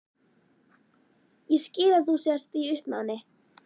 Ég skil að þú sért í uppnámi.